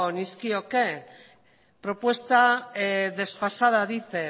nizkioke propuesta desfasada dice